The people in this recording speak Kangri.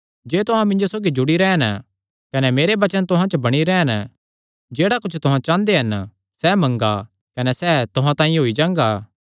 जे तुहां मिन्जो सौगी जुड़ी रैह़न कने मेरे वचन तुहां च बणी रैह़न जेह्ड़ा कुच्छ तुहां चांह़दे हन सैह़ मंगा कने सैह़ तुहां तांई होई जांगा